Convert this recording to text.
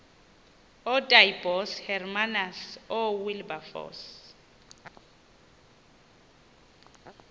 ootaaibos hermanus oowilberforce